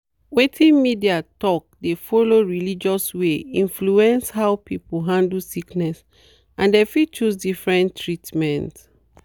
wetin media talk dey follow religious way influence how people handle sickness and dem fit choose different treatment.